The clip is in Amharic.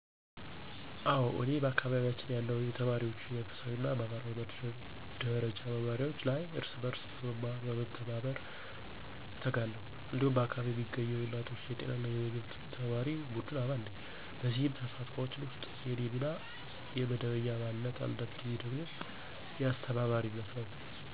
አዎ፤ እኔ በአካባቢያችን ያለው የተማሪዎች የመንፈሳዊ እና ማህበራዊ ደረጃ መማሪያዎች ላይ እርስ በርስ በመማርና በመተባበር እተጋለሁ። እንዲሁም በአካባቢ የሚገኘው የእናቶች የጤና እና ምግብ ተማሪ ቡድን አባል ነኝ። በእነዚህ ተሳትፎች ውስጥ የእኔ ሚና የመደበኛ አባልነት፣ አንዳንድ ጊዜ ደግሞ የአስተባባሪነት ነው።